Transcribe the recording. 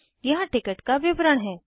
यहाँ टिकट का विवरण है